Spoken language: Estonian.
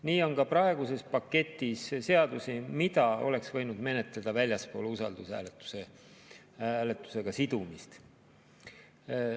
Nii on ka praeguses paketis seadusi, mida oleks võinud menetleda väljaspool usaldushääletusega sidumist.